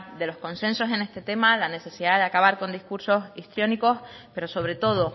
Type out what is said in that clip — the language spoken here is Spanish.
de los consensos en este tema la necesidad de acabar con discursos histriónicos pero sobre todo